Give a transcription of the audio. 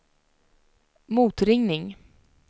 motringning